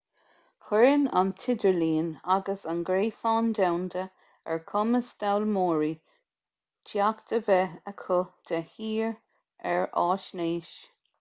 cuireann an tidirlíon agus an gréasán domhanda ar chumas d'fhoghlaimeoirí teacht a bheith acu de shíor ar fhaisnéis